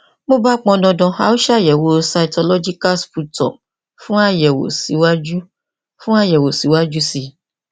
bí ó bá pọn dandan a ó ṣe àyẹwò cytological sputum fún àyẹwò síwájú fún àyẹwò síwájú sí i